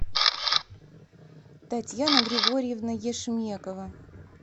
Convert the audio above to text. татьяна григорьевна ешмекова